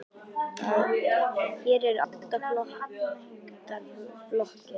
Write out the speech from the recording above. Hér eru átta flottar blokkir.